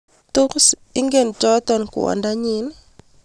tos ingen choto kwondonyin?